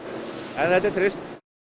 en þetta er trist